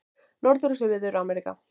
Norður- og Suður-Ameríka